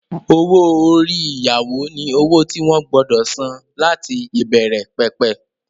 Owó-orí ìyàwó ni owó tí wọ́n gbọdọ̀ san láti ìbẹ̀rẹ̀ pẹ̀pẹ̀